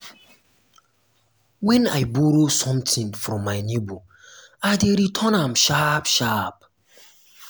wen i borrow sometin from my nebor i dey return am sharp-sharp.